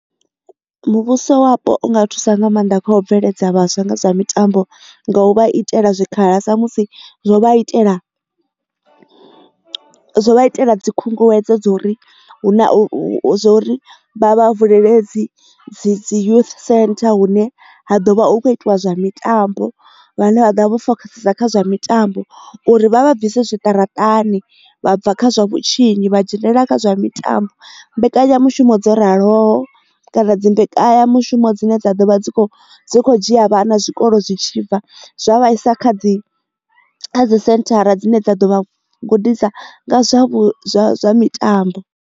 Muvhuso wapo u nga thusa nga maanḓa kha u bveledza vhaswa nga zwa mitambo nga u vha itela zwikhala sa musi zwo vha itela, zwo vha itela dzi khunguwedzo dzo uri hu na hu zwori vha vha vulele dzi dzi youth centre hune ha ḓovha hu kho itiwa zwa mitambo vhane vha ḓa vho fokhasa kha zwa mitambo uri vha vha bvise zwiṱaraṱani vha bva kha zwa vhutshinyi vha dzhenelela kha zwa mitambo. Mbekanyamushumo dzo raloho kana dzi mbekanya mushumo dzine dza vha dzi kho dzhia vhana zwikolo zwi tshibva zwa vhaisa kha dzi dzisenthara dzine dza ḓo vha gudisa nga zwa zwa zwa mitambo.